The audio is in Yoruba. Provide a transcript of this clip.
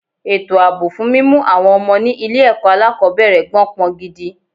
Ètò àbọ̀ fún mímú àwọn ọmọ ni ilé ẹ̀kọ́ alákòbẹ̀rẹ̀ gbó pọn gidi.